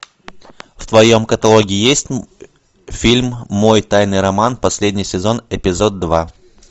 в твоем каталоге есть фильм мой тайный роман последний сезон эпизод два